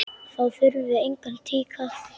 Þá þurfum við engan tíkall!